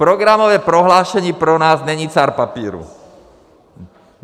Programové prohlášení pro nás není cár papíru.